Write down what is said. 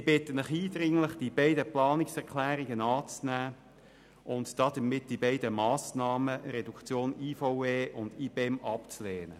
Ich bitte Sie eindringlich, die beiden Planungserklärungen anzunehmen und damit die Massnahmen zur IVE und zum IBEM-Pool abzulehnen.